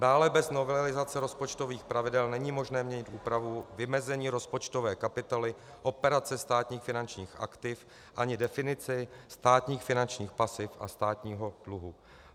Dále bez novelizace rozpočtových pravidel není možné měnit úpravu vymezení rozpočtové kapitoly Operace státních finančních aktiv ani definici státních finančních pasiv a státního dluhu.